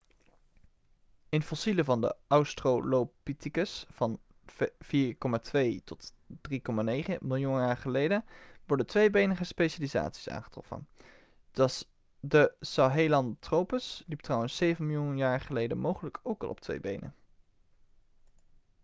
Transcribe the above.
in fossielen van de australopithecus van 4,2-3,9 miljoen jaar geleden worden tweebenige specialisaties aangetroffen. de sahelanthropus liep trouwens zeven miljoen jaar geleden mogelijk ook al op twee benen